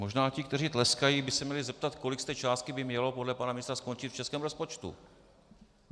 Možná ti, kteří tleskají, by se měli zeptat, kolik z té částky by mělo podle pana ministra skončit v českém rozpočtu.